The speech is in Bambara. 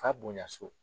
F'a bonya so